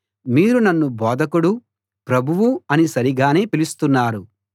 మీరు నన్ను బోధకుడు ప్రభువు అని సరిగానే పిలుస్తున్నారు